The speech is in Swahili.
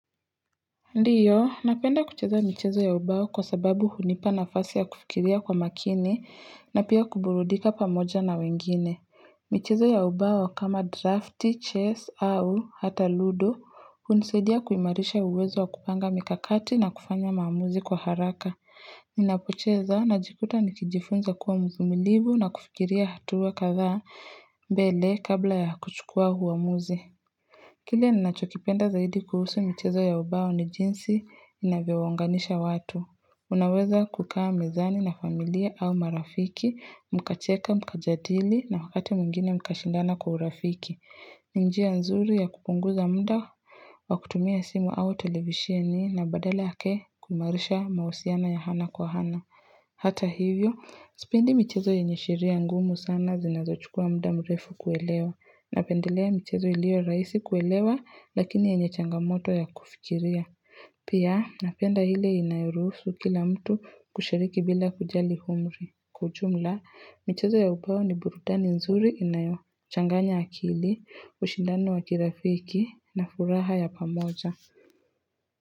Ndiyo, napenda kucheza michezo ya ubao kwa sababu hunipa nafasi ya kufikiria kwa makini na pia kuburudika pamoja na wengine. Michezo ya ubao kama drafti, chess au hata ludo, unisaidia kuimarisha uwezo wa kupanga mikakati na kufanya maamuzi kwa haraka. Ninapocheza najikuta nikijifunza kuwa mvumilivu na kufikiria hatuwa kadhaa bele kabla ya kuchukua huamuzi. Kile nanachokipenda zaidi kuhusu michezo ya obao ni jinsi inavyowaunganisha watu. Unaweza kukaa mezani na familia au marafiki, mkacheka, mkajadili na wakati mwingine mkashindana kwa urafiki. Ni njia nzuri ya kupunguza mda wa kutumia simu au televisheni na badale yake kuimarisha mahusiano ya hana kwa hana. Hata hivyo, sipendi michezo yenye sheria ngumu sana zinazochukua mda mrefu kuelewa. Napendelea mchezo iliorahisi kuelewa lakini yenye changamoto ya kufikiria Pia napenda hile inayoruhusu kila mtu kushiriki bila kujali umri Kwa ujumla michezo ya ubao ni burudani nzuri inayochanganya akili ushidano wa kirafiki na furaha ya pamoja.